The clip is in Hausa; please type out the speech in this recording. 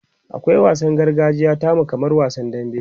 akwai wansanni na gargajiya tamu kamar wasan dambe